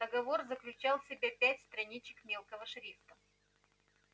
договор заключал в себе пять страничек мелкого шрифта